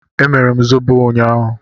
Emere m zobo ụnyaahụ.